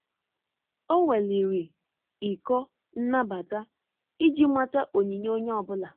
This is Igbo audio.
Ọ́ weliri ịkọ nnabata iji màtá onyinye onye ọ bụla.